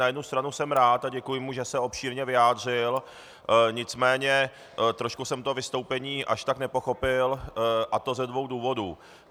Na jednu stranu jsem rád a děkuji mu, že se obšírně vyjádřil, nicméně trošku jsem to vystoupení až tak nepochopil, a to ze dvou důvodů.